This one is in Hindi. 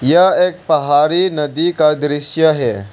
यह एक पहाड़ी नदी का दृश्य है।